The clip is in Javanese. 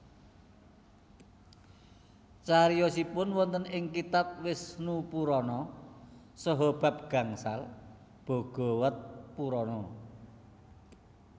Cariyosipun wonten ing kitab Wisnupurana saha bab gangsal Bhagawatapurana